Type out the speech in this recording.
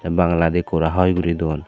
te bangaladi kora hoi guri dun.